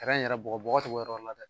Tɛrɛn yɛrɛ bɔgɔbɔgɔ to yɔrɔ la dɛ